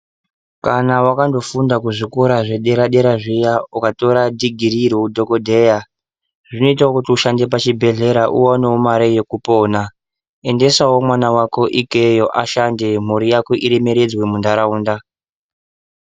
Kana wakandofunda kuzvikora zvedera-dera zviya, ukatora dhigirii roudhogodheya, zvinoita kuti ushandewo pachibhedhlera uonewo mari yekupona. Endesawo mwana wako ikweiyo ahande, mhuri yako iremeredzwe muntaraunda.